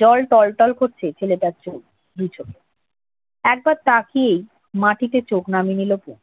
জল টল টল করছে ছেলেটার চোখ, দু চোখ। একবার তাকিয়ে মাটিতে চোখ নামিয়ে নিল তনু।